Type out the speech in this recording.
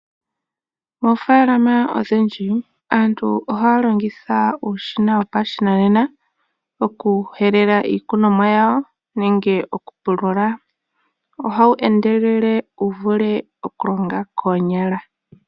Moofalama odhindji aantu ohaalongitha uushina wopashinanena okuhelela iikunomwa yawo nenge okupulula ohawu endelele wuvule okulonga koonyala.